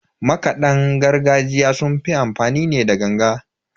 Makadan gargajiya sun fi amfani ne da ganga.